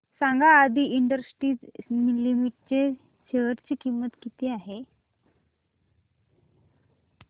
सांगा Aadi industries limited च्या share ची किंमत किती आहे